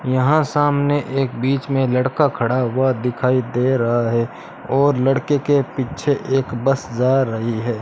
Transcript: यहां सामने एक बीच में लड़का खड़ा हुआ दिखाई दे रहा है और लड़के के पीछे एक बस जा रही है।